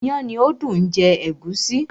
iyán ni ó dùn jẹ ègúsí.